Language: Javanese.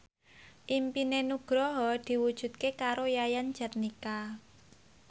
impine Nugroho diwujudke karo Yayan Jatnika